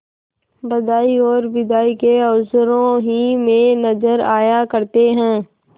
बधाई और बिदाई के अवसरों ही में नजर आया करते हैं